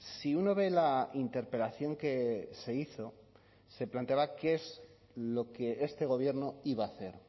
si uno ve la interpelación que se hizo se planteaba que es lo que este gobierno iba a hacer